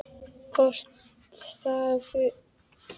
Kort þagnaði og starði stutta stund glottandi framan í Christian.